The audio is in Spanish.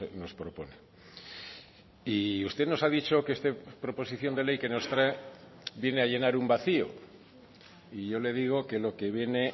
nos propone y usted nos ha dicho que esta proposición de ley que nos trae viene a llenar un vacío y yo le digo que lo que viene